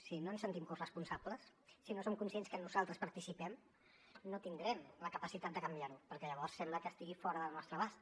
si no ens en sentim corresponsables si no som conscients que nosaltres hi participem no tindrem la capacitat de canviar ho perquè llavors sembla que estigui fora del nostre abast